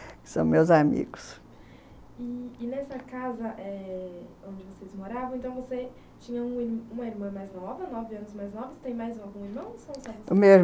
São meus amigo. E.. e nessa casa eh onde vocês moravam, então, você tinha uma irmã mais nova, nove anos mais novas, tem mais algum irmão? o meu irmão,